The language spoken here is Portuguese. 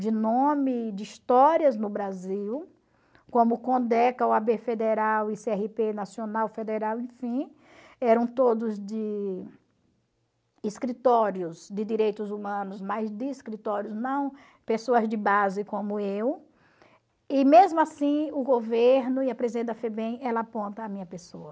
de nome, de histórias no Brasil, como Condeca, o a bê Federal e cê erre pê nacional federal, enfim, eram todos de escritórios de direitos humanos, mas de escritórios não, pessoas de base como eu, e mesmo assim o governo e a presidente da FEBEM, ela aponta a minha pessoa.